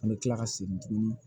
An bɛ tila ka segin tuguni